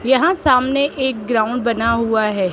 यहां सामने एक ग्राउंड बना हुआ है।